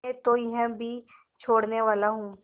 मैं तो यह भी छोड़नेवाला हूँ